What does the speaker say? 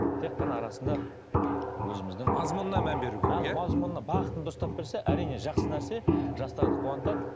тек қана арасында өзіміздің мазмұнына мән беру керек иә мазмұнына бағытын дұрыстап берсе әрине жақсы нәрсе жастарды қуантады